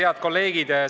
Head kolleegid!